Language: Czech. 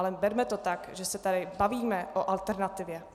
Ale berme to tak, že se tady bavíme o alternativě.